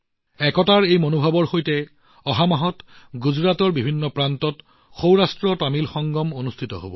একতাৰ এই মনোভাৱৰ সৈতে অহা মাহত গুজৰাটৰ বিভিন্ন প্ৰান্তত সৌৰাষ্ট্ৰতামিল সংগম অনুষ্ঠিত হব